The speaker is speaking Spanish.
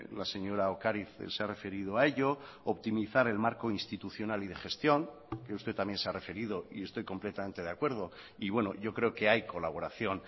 la señora ocariz se ha referido a ello optimizar el marco institucional y de gestión que usted también se ha referido y estoy completamente de acuerdo y bueno yo creo que hay colaboración